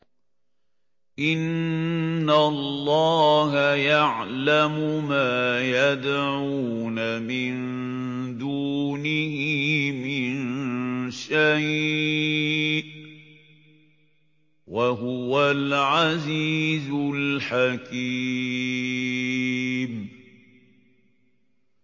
إِنَّ اللَّهَ يَعْلَمُ مَا يَدْعُونَ مِن دُونِهِ مِن شَيْءٍ ۚ وَهُوَ الْعَزِيزُ الْحَكِيمُ